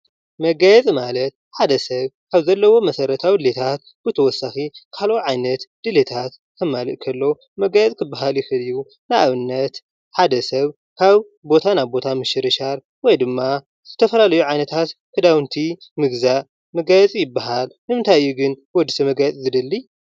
መጋየፂ ማለት ሓደ ሰብ ካብ ዘለዎ መሰረታዊ ድሌታት ብተውሳኪ ካሊእ ዓይነት ድሌታት ከማልእ ከሎ መጋየፂ ክበሃል ይክእል እዩ። ንኣብነት ሓደ ሰብ ካብ ቦታ ናብ ቦታ ምሽርሻር ወይ ድማ ዝተፈላለዩ ዓይነታት ክዳዉንቲ ምግዛእ መጋየፂ ይበሃል። ንምንታይ እዩ ግን ወድሰብ መጋየፂ ዝደሊ?